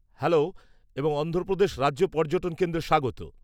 -Hello এবং অন্ধ্রপ্রদেশ রাজ্য পর্যটন কেন্দ্রে স্বাগত।